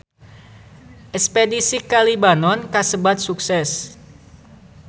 Espedisi ka Libanon kasebat sukses